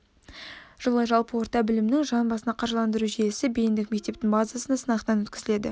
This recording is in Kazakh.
жылы жалпы орта білімнің жан басына қаржыландыру жүйесі бейіндік мектептің базасында сынақтан өткізіледі